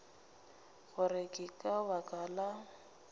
gore ke ka baka la